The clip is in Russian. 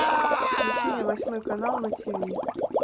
включи мне восьмой канал на тв